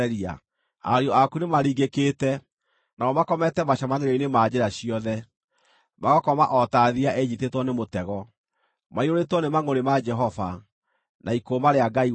Ariũ aku nĩmaringĩkĩte; nao makomete macemanĩrio-inĩ ma njĩra ciothe, magakoma o ta thiiya ĩnyiitĩtwo nĩ mũtego. Maiyũrĩtwo nĩ mangʼũrĩ ma Jehova, na ikũũma rĩa Ngai wanyu.